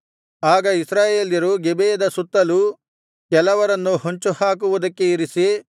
ಆಗ ಇಸ್ರಾಯೇಲ್ಯರು ಗಿಬೆಯದ ಸುತ್ತಲೂ ಕೆಲವರನ್ನು ಹೊಂಚು ಹಾಕುವುದಕ್ಕೆ ಇರಿಸಿ